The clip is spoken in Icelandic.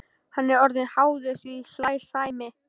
Hann er orðinn háður því, hlær Sæmi.